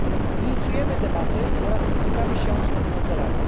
Inicjujemy debaty oraz spotykamy się z obywatelami.